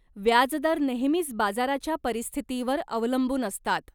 व्याजदर नेहमीच बाजाराच्या परिस्थितीवर अवलंबून असतात.